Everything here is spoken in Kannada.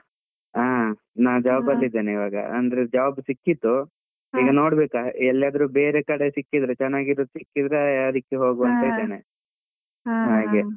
ಹಾ, ನಾನ್ job ಅಲ್ಲಿ ಇದ್ದೇನೆ ಇವಾಗ ಅಂದ್ರೆ job ಸಿಕ್ಕಿತ್ತು. ನೋಡ್ಬೇಕು ಎಲ್ಲಾದ್ರೂ ಬೇರೆ ಕಡೆ ಸಿಕ್ಕಿದ್ರೆ ಚೆನ್ನಾಗಿರೋದು ಸಿಕ್ಕಿದ್ರೆ ಅದಕ್ಕೆ ಹೋಗುವ ಅಂತ ಇದ್ದೇನೆ, overap.